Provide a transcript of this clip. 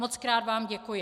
Mockrát vám děkuji.